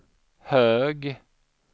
hög